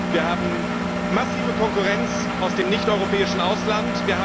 Wir haben massive Konkurrenz aus dem nichteuropäischen Ausland.